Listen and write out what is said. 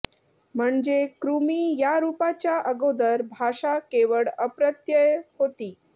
म्हणजे कृमि या रूपाच्या अगोदर भाषा केवळ अप्रत्यय होती